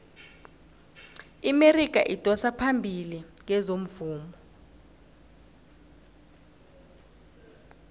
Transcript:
iamerika idosa phambili kezomvumo